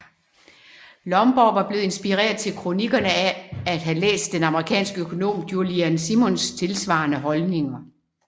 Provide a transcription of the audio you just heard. Lomborg var blevet inspireret til kronikkerne af at have læst den amerikanske økonom Julian Simons tilsvarende holdninger